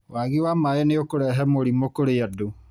Wagi wa maĩ nĩ ũkũrehe mũrimũ kũrĩ andũ